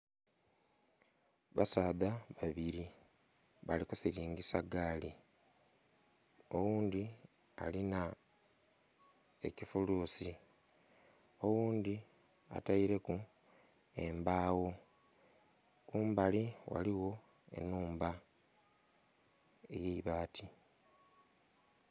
Basaadha babiri balikusiringisa gaali oghundhi alina ekifulusi, oghundhi ataireku embagho kumbali ghaligho enhumba eyaibati.